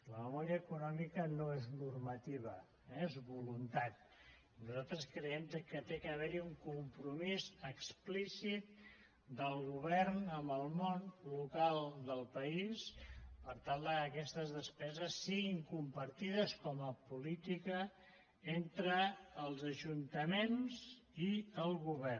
la memòria econòmica no és normativa eh és voluntat i nosaltres creiem que hi ha d’haver un compromís explícit del govern amb el món local del país per tal que aquestes despeses siguin compartides com a política entre els ajuntaments i el govern